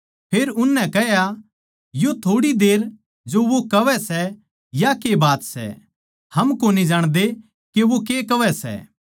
फेर उननै कह्या यो थोड़ी देर जो वो कहवै सै या के बात सै हम कोनी जाणदे के वो के कहवै सै